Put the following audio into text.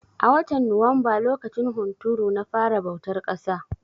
A watan Nuwamba lokacin hunturu na fara bautar ƙasa.